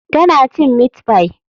Tana cin meat pie.